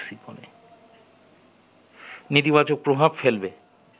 নেতিবাচক প্রভাব ফেলবে